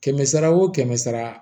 Kɛmɛ sara wo kɛmɛ sara